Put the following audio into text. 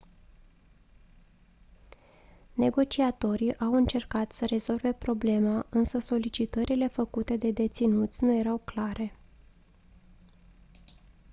negociatorii au încercat să rezolve problema însă solicitările făcute de deținuți nu erau clare